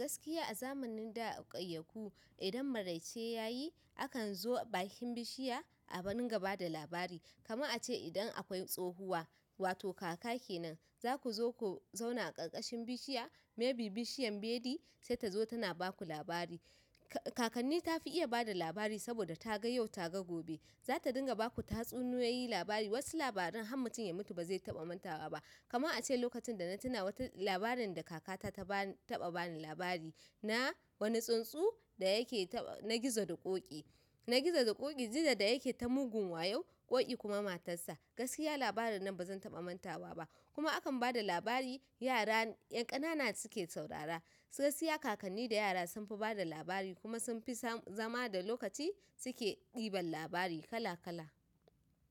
Gaskiya a zamanin da a ƙauyaku idan maraice yayi akan zo bakin bishiya a dinga ba da labari. Kaman a ce idan akwai tsohuwa wato kaka kenan za ku zo ku zauna a ƙarƙashin bishiya maybe bishiyan beli sai ta zo tana baku labari. Ka-kakanni tafi iya bada labari saboda ta ga yau ta ga gobe. Zata dinga baku tatsuniyoyi, labari. Wasu labaran har mutum ya mutu bazai taɓa mantawa ba. Kaman a ce lokacin da na tuna wata labarin da kaka ta ta ba-taɓa bani labari na wani tsuntsu da yake ta na gizo da ƙoƙi. Na gizo da ƙoƙi, gizo da yake ta mugun wayo, ƙoƙi kuma matarsa. Gaskiya labarin nan bazan taɓa mantawa ba. Kuma akan bada labari yara 'yan ƙanana suke saurara. Gaskiya kakanni da yara sunfi bada labari kuma sunfi sam-zama da lokaci suke ɗiban labari kala kala.